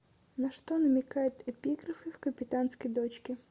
на что намекают эпиграфы в капитанской дочке